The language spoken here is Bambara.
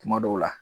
Kuma dɔw la